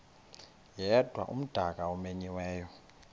yedwa umdaka omenyiweyo